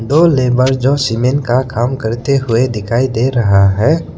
दो लेबर जो सीमेंट का काम करते हुए दिखाई दे रहा है।